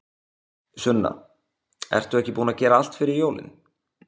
Sunna: Ertu ekki búin að gera allt fyrir jólin?